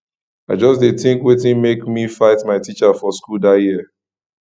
i just dey tink wetin make me fight my teacher for school dat year